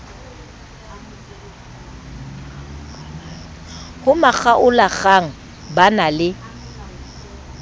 ho makgaolakgang ba na le